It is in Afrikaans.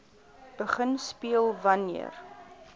begin speel wanneer